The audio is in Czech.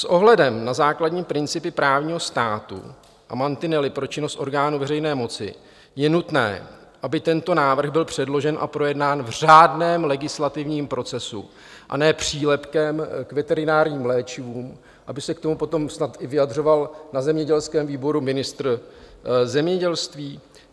S ohledem na základní principy právního státu a mantinely pro činnost orgánů veřejné moci je nutné, aby tento návrh byl předložen a projednán v řádném legislativním procesu, a ne přílepkem k veterinárním léčivům, aby se k tomu potom snad i vyjadřoval na zemědělském výboru ministr zemědělství.